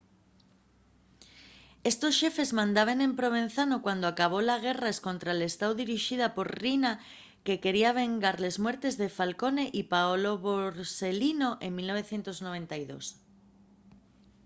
estos xefes mandaben en provenzano cuando acabó la guerra escontra l'estáu dirixida por riina que quería vengar les muertes de falcone y paolo borselino en 1992